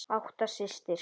Ásta systir.